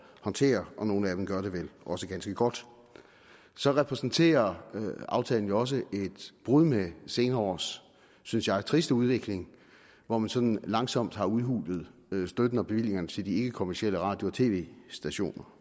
håndtere og nogle af dem gør det vel også ganske godt så repræsenterer aftalen jo også et brud med senere års synes jeg triste udvikling hvor man sådan langsomt har udhulet støtten og bevillingerne til de ikkekommercielle radio og tv stationer